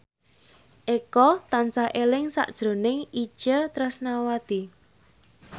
Eko tansah eling sakjroning Itje Tresnawati